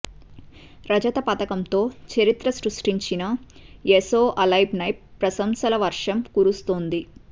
రజత పతకంతో చరిత్ర సృష్టించిన ఎసో అల్బెన్పై ప్రశంసల వర్షం కురుస్తోంది